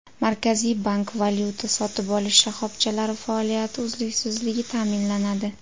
Markaziy bank: Valyuta sotib olish shoxobchalari faoliyati uzluksizligi ta’minlanadi.